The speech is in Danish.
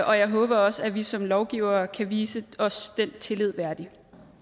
og jeg håber også at vi som lovgivere kan vise os den tillid værdig